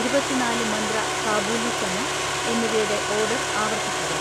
ഇരുപത്തി നാല് മന്ത്ര കാബൂലി ചന എന്നിവയുടെ ഓർഡർ ആവർത്തിക്കുക.